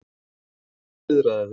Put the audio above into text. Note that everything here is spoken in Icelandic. Farðu og viðraðu þig,